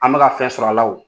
An bɛka fɛn sɔrɔ'alaw